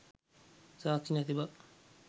සාක්ෂි නැති බව